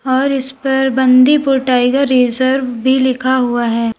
और इस पर बांदीपुर टाइगर रिजर्व भी लिखा हुआ है।